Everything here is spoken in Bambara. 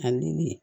Ani